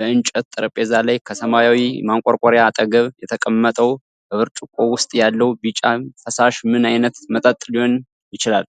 በእንጨት ጠረጴዛ ላይ ከሰማያዊው ማንቆርቆሪያ አጠገብ የተቀመጠው በብርጭቆው ውስጥ ያለው ቢጫ ፈሳሽ ምን አይነት መጠጥ ሊሆን ይችላል?